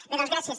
bé doncs gràcies